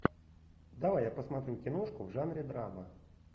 давай я посмотрю киношку в жанре драма